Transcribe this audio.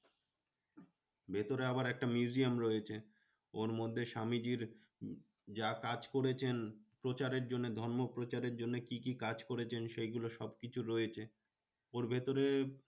ভেতরে আবার একটা museum রয়েছে। ওর মধ্যে স্বামীজীর যা কাজ করেছেন প্রচারের জন্যে, ধর্ম প্রচারের জন্যে কি কি কাজ করেছেন? সেগুলো সবকিছু রয়েছে। ওর ভেতরে